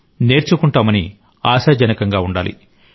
నేర్చుకుంటామని ఆశాజనకంగా ఉండాలి